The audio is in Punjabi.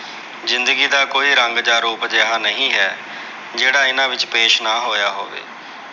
ਜ਼ਿੰਦਗੀ ਦਾ ਕੋਈ ਰੰਗ ਜਾਂ ਰੂਪ ਅਜਿਹਾ ਨਹੀਂ ਹੈ। ਜਿਹੜਾ ਇਹਨਾਂ ਵਿੱਚ ਪੇਸ਼ ਨਾ ਹੋਇਆ ਹੋਵੇ।